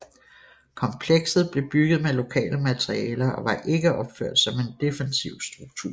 Komplekset blev bygget med lokale materialer og var ikke opført som en defensiv struktur